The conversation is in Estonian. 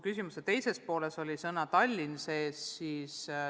Küsimuse teises pooles oli sees Tallinn.